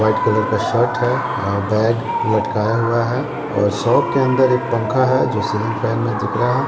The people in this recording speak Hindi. व्हाईट कलर का शर्ट है आ बैग लटकाया हुआ है और शॉप के अंदर एक पंखा है जो सीलिंग फैन में दिख रहा है।